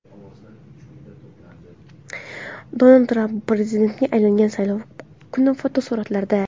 Donald Tramp prezidentga aylangan saylov kuni fotosuratlarda.